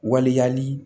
Waliya ni